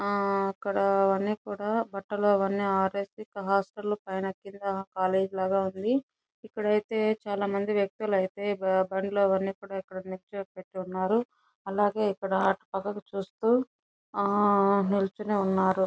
అక్కడ అవన్నీ కూడా బట్టలు అవన్నీ ఆరేసి హాస్టల్ లో పైన కింద కాలేజ్ లాగా ఉంది. ఇక్కడైతే చాలామంది వ్యక్తులైతే బండ్లు అన్ని పెట్టి ఉన్నారు. అలాగే ఇక్కడ అటు పక్కకు చూస్తూ ఆ నిల్చని ఉన్నారు.